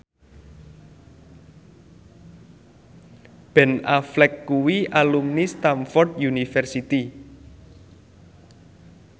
Ben Affleck kuwi alumni Stamford University